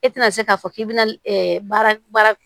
E tɛna se k'a fɔ k'i bɛna baara